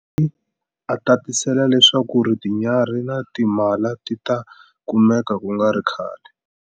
Ngesi, a tatisela leswaku tinyarhi na timhala ti ta kumeka ku nga ri khale.